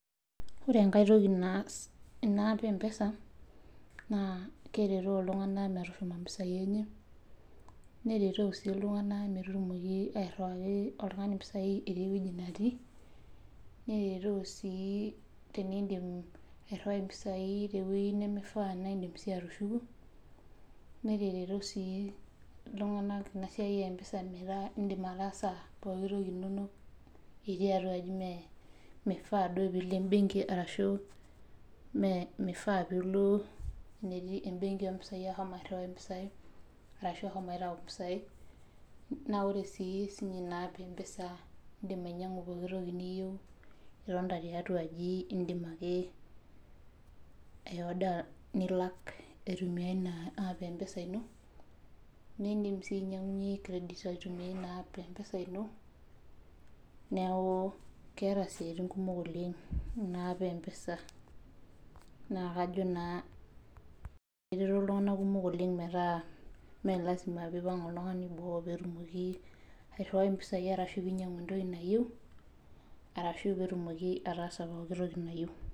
Ore enkae toki naas ena app empesa na kereto ltunganak metoripo mpisai enye nereto ltunganak airiwaa mpisai tewoo natii nereto sii tenidip airiwai mpisai tewoi nimiyieu na indim atushu mpisai atushuku neteroto si amu indim ataaasa pooki toki inono itiibatua aji mifaa pilo embenki ashu mifaapilo embenki aitau mpisaiashu eshomoita apik mpisai ore si inapp empesa indim ainyangu pooki toki itii aje nilak itumia ina aap aitumia esimu ino nindim si ainyangunyie credit aitumia inapp esimu ino neaku keeta siatin kumok ina app e mpesa nakajo na etereto ltunganak kumok metaa melasima pipang oltungani boo petumoki aterewa mpisai pinyangu entoki nayieu ashu petumoki ataasa pookki nayieu.